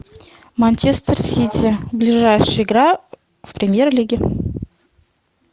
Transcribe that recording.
манчестер сити ближайшая игра в премьер лиге